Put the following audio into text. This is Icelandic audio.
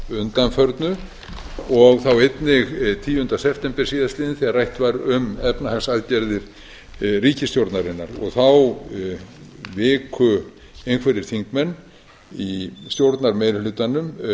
undanförnu og þá einnig tíunda september síðastliðinn þegar rætt var um efnahagsaðgerðir ríkisstjórnarinnar þá viku einhverjir þingmenn í stjórnarmeirihlutanum